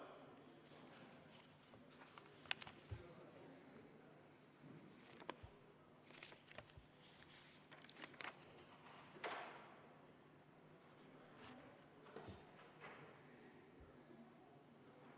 V a h e a e g